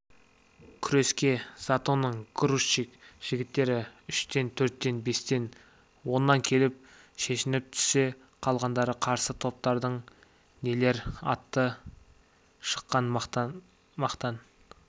күреске затонның грузчик жігіттері үштен төрттен бестен оннан келіп шешініп түсе қалғанда қарсы топтардың нелер аты шыққан мақтан